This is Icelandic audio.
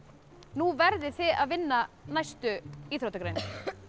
nú verðið þið að vinna næstu íþróttagreinar